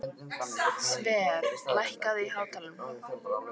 Sverre, lækkaðu í hátalaranum.